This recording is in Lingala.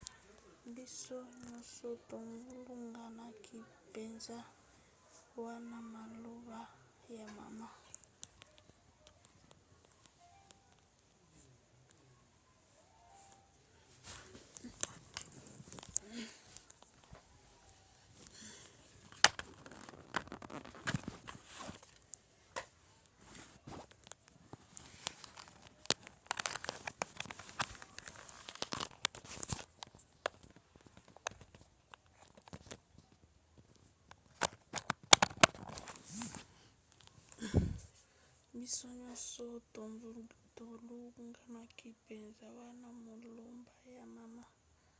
biso nyonso tobulunganaki mpenza wana maloba ya mama